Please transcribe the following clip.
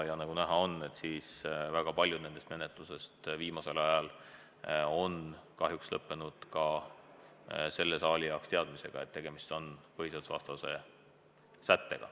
Ja nagu näha, on väga paljud nendest menetlustest viimasel ajal kahjuks lõppenud selle saali jaoks teadmisega, et tegemist on põhiseadusvastase sättega.